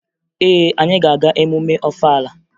Ee, anyị ga-aga emume Ọfala ahụ